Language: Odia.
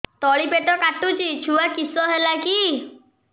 ତଳିପେଟ କାଟୁଚି ଛୁଆ କିଶ ହେଲା କି